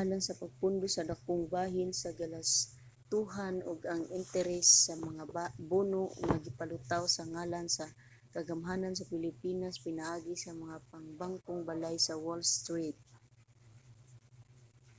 alang sa pagpondo sa dakong bahin sa galastuhan ug ang interes sa mga bono nga gipalutaw sa ngalan sa kagamhanan sa pilipinas pinaagi sa mga pangbangkong balay sa wall street